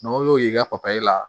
N'o y'o ye i ka papiye la